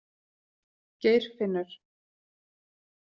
Geirfinnur